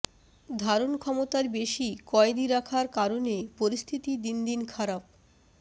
ধারণক্ষমতার বেশি কয়েদি রাখার কারণে পরিস্থিতি দিন দিন খারাপ